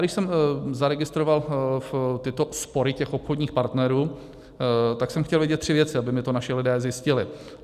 Když jsem zaregistroval tyto spory těch obchodních partnerů, tak jsem chtěl vědět tři věci, aby mi to naši lidé zjistili.